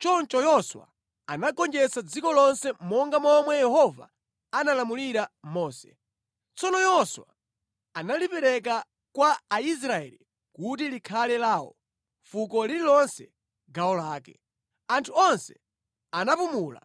Choncho Yoswa anagonjetsa dziko lonse monga momwe Yehova analamulira Mose. Tsono Yoswa analipereka kwa Aisraeli kuti likhale lawo, fuko lililonse gawo lake. Anthu onse anapumula,